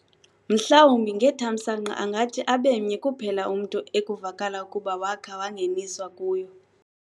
Mhlawumbi ngethamsanqa angathi abemnye kuphela umntu ekuvakala ukuba wakha wangeniswa kuyo.